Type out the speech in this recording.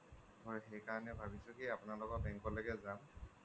মই সেইকাৰণে ভাবিছো কি আপোনালোকৰ bank লৈকে যাম